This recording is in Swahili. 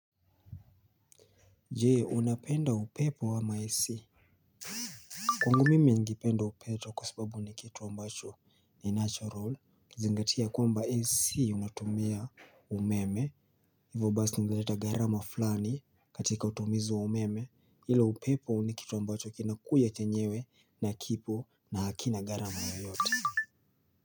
Jee unapenda upepo wama AC. Kwangu mimi ningipenda upeto kwa sababu nikitu ambacho ni natural kizingatia kwamba AC unatumia umeme. Hivo basi ungeleta gharama fulani katika utumizu wa umeme ila upepo nikitu ambacho kinakuja chenyewe na kipo na hakina gharama yoyote.